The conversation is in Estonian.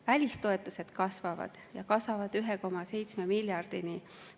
Välistoetused kasvavad, ja kasvavad 1,7 miljardini.